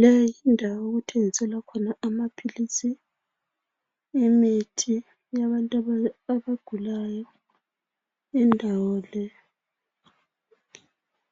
le yindawo okuthengiselwa khona amaphilisi imithi yabantu abagulayo indawo le